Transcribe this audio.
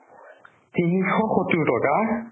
তিনিশ সত্তোৰ টকা !